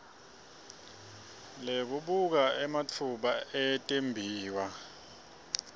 lekubuka ematfuba etimbiwa